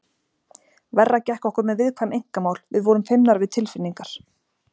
Verra gekk okkur með viðkvæm einkamál, við vorum feimnar við tilfinningar.